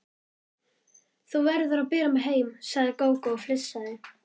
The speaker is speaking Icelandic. Þú verður að bera mig heim, sagði Gógó og flissaði.